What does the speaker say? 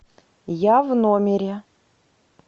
я в номере